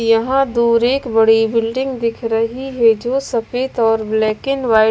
यहाँ दूर एक बड़ी बिल्डिंग दिख रही है जो सफेद और ब्लैक एंड व्हाइट --